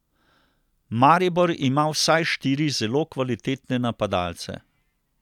Maribor ima vsaj štiri zelo kvalitetne napadalce.